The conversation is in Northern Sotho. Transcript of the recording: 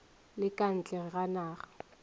le ka ntle ga naga